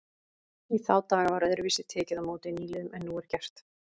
Í þá daga var öðruvísi tekið á móti nýliðum en nú er gert.